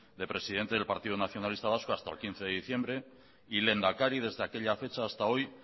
de presidente del partido nacionalista vasco hasta el quince de diciembre y lehendakari desde aquella fecha hasta hoy